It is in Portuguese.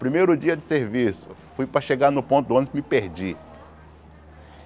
Primeiro dia de serviço, fui para chegar no ponto ônibus me perdi.